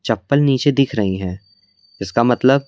चप्पल नीचे दिख रही हैं इसका मतलब--